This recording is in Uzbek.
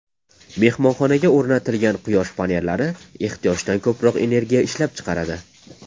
Mehmonxonaga o‘rnatilgan quyosh panellari ehtiyojdan ko‘proq energiya ishlab chiqaradi.